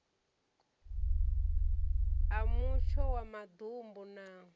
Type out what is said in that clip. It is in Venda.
a mutsho wa maḓumbu na